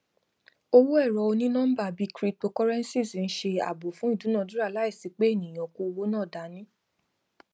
owó ẹrọ onínọmbà bíi cryptocurrencies ń ṣe ààbò fún ìdúnadúrà láìsí pé ènìyàn kó owó náà dání